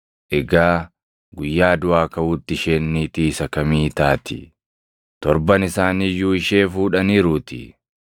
Egaa guyyaa duʼaa kaʼuutti isheen niitii isa kamii taati? Torban isaanii iyyuu ishee fuudhaniiruutii.”